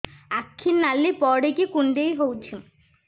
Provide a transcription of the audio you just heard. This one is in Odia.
ଆଖି ନାଲି ପଡିକି କୁଣ୍ଡେଇ ହଉଛି